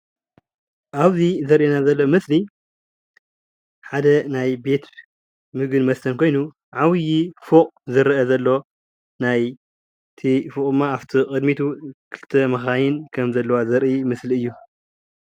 ኣብዚ ዘርእየና ዘሎ ምስሊ ሓደ ናይ ቤት ምግብን መስተን ኮይኑ ዓብይ ፎቅ ዝረአ ዘሎ ናይቲ ፎቅ ድማ ኣፍቲ ቅድሚቱ ክልተ መካይን ከም ዘለዋ ዘርኢ ምስሊ እዩ፡፡